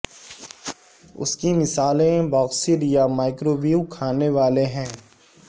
اس کی مثالیں باکسڈ یا مائکروویو کھانے والے ہیں